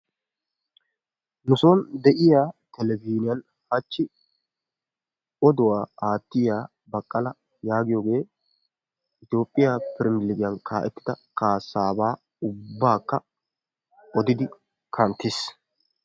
Nu sooni de'iya televzhniyaan hachchi oduwaa aattiya Baqqala yaagiyoge Toophphiyaa pirmiligiyan kaa'ettida kaassaaba ubbakka odidi kanttiis.